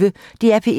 DR P1